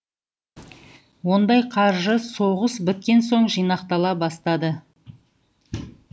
ондай қаржы соғыс біткен соң жинақтала бастады